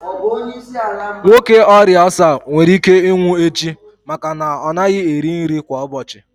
Ọrịa ulcer nwere ike ịnwụ echi maka na ọ naghị eri nri kwa ụbọchị.